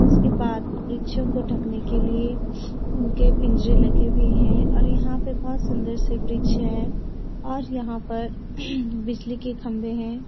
इसके बाद वृक्षों को ढकने के लिए उनके पिंजरे लगे हुए है और यहां पर बहुत सुन्‍दर से वृक्ष है और यहां पर बिजली के खम्बे हैं।